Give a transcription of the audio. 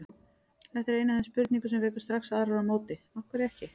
Þetta er ein af þeim spurningum sem vekur strax aðrar á móti: Af hverju ekki?